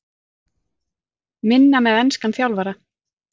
Minna með enskan þjálfara?